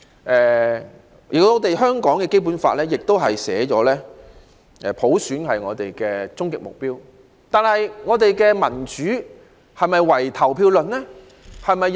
雖然香港的《基本法》訂明普選是終極目標，但我們的民主是否唯投票論呢？